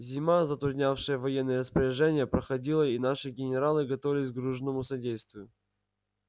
зима затруднявшая военные распоряжения проходила и наши генералы готовились к дружному содействию